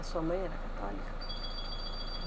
A sua mãe era católica?